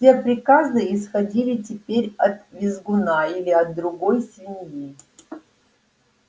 все приказы исходили теперь от визгуна или от другой свиньи